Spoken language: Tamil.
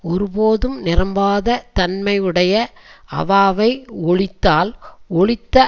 ஒருபோதும் நிரம்பாத தன்மை உடைய அவாவை ஒழித்தால் ஒழித்த